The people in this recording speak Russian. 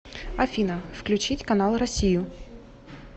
афина включить канал россию